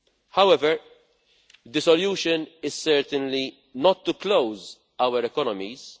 However, the solution is certainly not to close our economies.